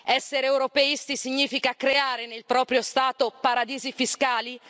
Essere europeisti significa creare nel proprio Stato paradisi fiscali?